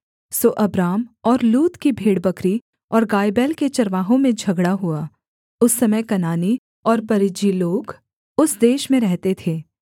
सो Abram और लूत की भेड़बकरी और गायबैल के चरवाहों में झगड़ा हुआ उस समय कनानी और परिज्जी लोग उस देश में रहते थे